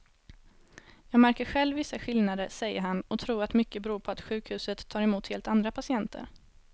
Jag märker själv vissa skillnader, säger han och tror att mycket beror på att sjukhuset tar emot helt andra patienter.